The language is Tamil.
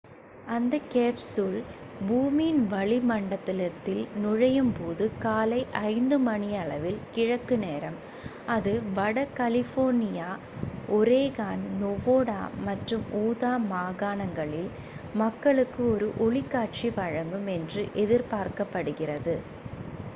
அந்தக் கேப்சூல் பூமியின் வளி மண்டலத்தில் நுழையும் போது காலை 5 மணியளவில் கிழக்கு நேரம் அது வட கலிபோர்னியா ஒரேகான் நெவாடா மற்றும் உதா மாகாணங்களில் மக்களுக்கு ஒரு ஒளிக்காட்சி வழங்கும் என்று எதிர்பார்க்கப் படுகிறது